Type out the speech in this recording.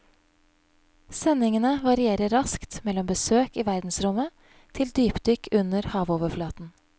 Sendingene varierer raskt mellom besøk i verdensrommet til dypdykk under havoverflaten.